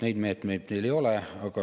Neid meetmeid meil ei ole.